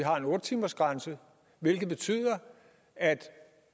har en otte timersgrænse hvilket betyder at